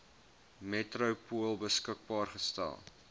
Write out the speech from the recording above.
metropool beskikbaar gestel